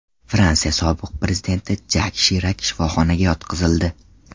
Fransiya sobiq prezidenti Jak Shirak shifoxonaga yotqizildi.